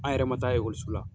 An yɛrɛ ma taa la